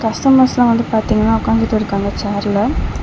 கஸ்டமர்ஸ்லாம் வந்து பாத்தீங்கனா ஒக்காந்துட்டு இருக்காங்க சேர்ல .